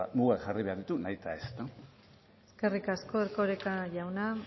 mugak jarri behar ditu nahi eta ez eskerrik asko erkoreka jauna